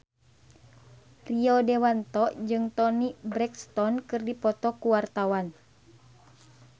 Rio Dewanto jeung Toni Brexton keur dipoto ku wartawan